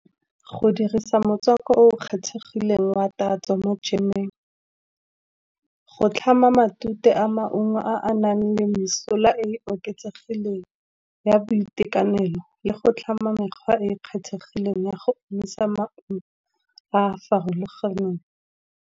Go dirisa motswako o kgethegileng wa tatso mo jemeng, go tlhama matute a maungo a a nang le mesola e e oketsegileng ya boitekanelo, le go tlhama mekgwa e e kgethegileng ya go emisa maungo a a farologaneng.